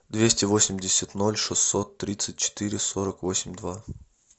двести восемьдесят ноль шестьсот тридцать четыре сорок восемь два